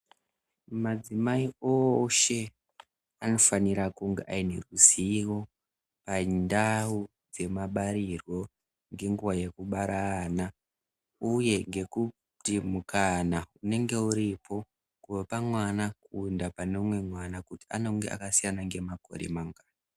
madzimai oshe anofanira kunge aine zivo pandawu dzemabarirwo nenguva yekubara ana uye ngekuti mukana unenge uripo kubva pamwana kuenda pane umwe kuti anonga akasiyana nemakore mangani .